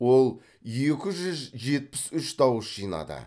ол екі жүз жетпіс үш дауыс жинады